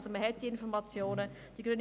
Diese Informationen liegen vor.